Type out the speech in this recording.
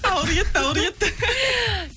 ауыр кетті ауыр кетті